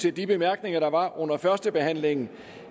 af de bemærkninger der var under førstebehandlingen